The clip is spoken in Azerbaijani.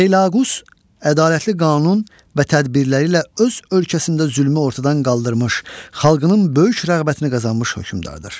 Feilaqus ədalətli qanun və tədbirləri ilə öz ölkəsində zülmü ortadan qaldırmış, xalqının böyük rəğbətini qazanmış hökmdardır.